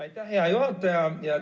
Aitäh, hea juhataja!